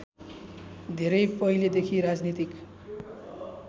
धेरै पहिलेदेखि राजनीतिक